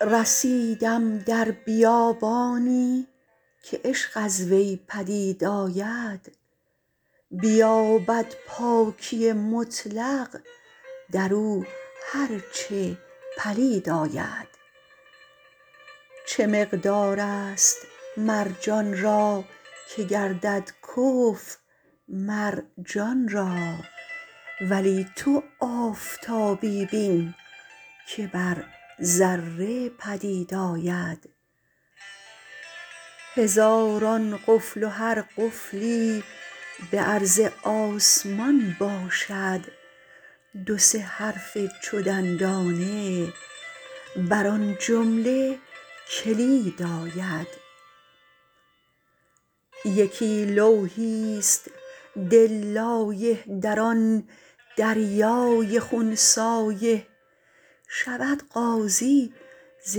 رسیدم در بیابانی که عشق از وی پدید آید بیابد پاکی مطلق در او هر چه پلید آید چه مقدارست مرجان را که گردد کفو مر جان را ولی تو آفتابی بین که بر ذره پدید آید هزاران قفل و هر قفلی به عرض آسمان باشد دو سه حرف چو دندانه بر آن جمله کلید آید یکی لوحیست دل لایح در آن دریای خون سایح شود غازی ز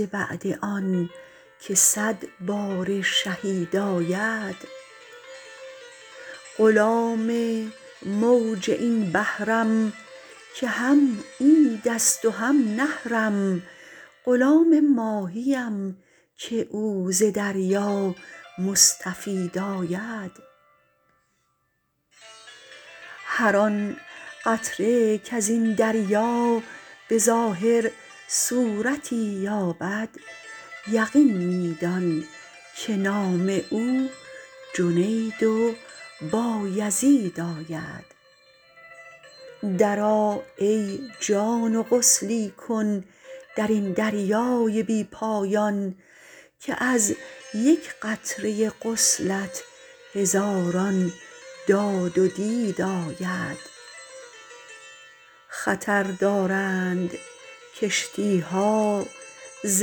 بعد آنک صد باره شهید آید غلام موج این بحرم که هم عیدست و هم نحرم غلام ماهیم که او ز دریا مستفید آید هر آن قطره کز این دریا به ظاهر صورتی یابد یقین می دان که نام او جنید و بایزید آید درآ ای جان و غسلی کن در این دریای بی پایان که از یک قطره غسلت هزاران داد و دید آید خطر دارند کشتی ها ز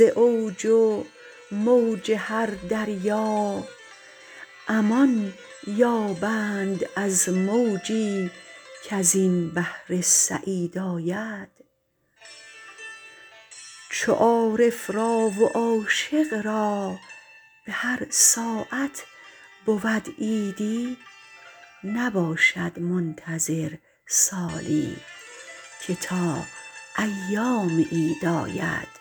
اوج و موج هر دریا امان یابند از موجی کز این بحر سعید آید چو عارف را و عاشق را به هر ساعت بود عیدی نباشد منتظر سالی که تا ایام عید آید